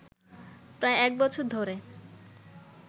প্রায় এক বছর ধরে